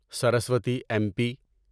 Saraswati M پی